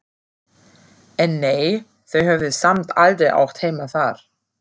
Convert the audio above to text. En nei, þau höfðu samt aldrei átt heima þar.